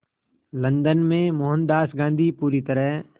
London में मोहनदास गांधी पूरी तरह